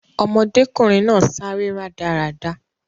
Ọmọdékùnrin náà sáré rádaràda